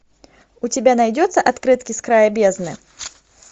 у тебя найдется открытки с края бездны